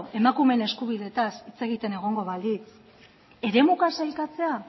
emakumeen eskubideetaz hitz egiten egongo bagintza eremuka sailkatzea